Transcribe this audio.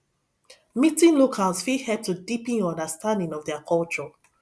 meeting locals fit help to deepen your understanding of their culture